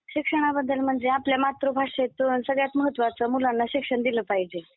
शिक्षणाबद्दल म्हणजे आपल्या मातृभाषेतून सगळ्यात महत्त्वाचं मुलांना शिक्षण दिलं पाहिजे.